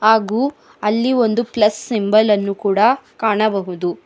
ಹಾಗು ಅಲ್ಲಿ ಒಂದು ಪ್ಲಸ್ ಸಿಂಬಲ್ ನ್ನು ಕೂಡ ಕಾಣಬಹುದು.